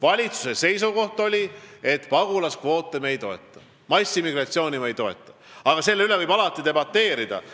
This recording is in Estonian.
Valitsuse seisukoht on, et me ei toeta pagulaskvoote, me ei toeta massiimmigratsiooni, aga selle üle võib alati debateerida.